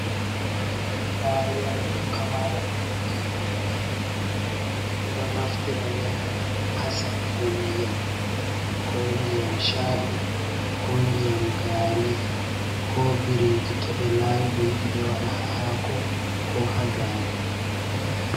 Laariya'yel pamarel je jungo. Ɓeɗo naftira ngel ha sakugo ndiyam, ko ndiyam sha’i, ko ndiyam gari, ko biriji to ɓe lawi ɓe yidi be wada ha haako ko ha gaari.